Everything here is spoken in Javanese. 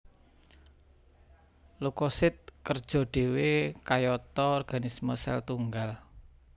Leukosit kerja dhéwé kayata organisme sel tunggal